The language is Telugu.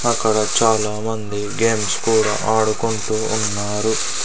అక్కడ చాలా మంది గేమ్స్ కూడా ఆడుకుంటూ ఉన్నారు.